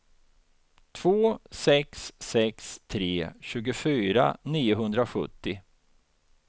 två sex sex tre tjugofyra niohundrasjuttio